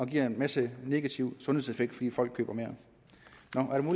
giver en masse negative sundhedseffekter fordi folk køber mere